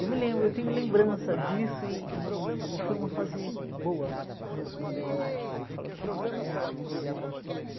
Eu me lembro, eu tenho lembrança disso e e e foi uma fase boa, uma fase gostosa da vida.